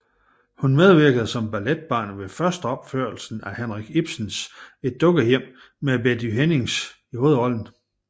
Hun medvirkede som balletbarn ved førsteopførelsen af Henrik Ibsens Et Dukkehjem med Betty Hennings i hovedrollen